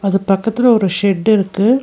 அது பக்கத்துல ஒரு ஷெட்டு இருக்கு.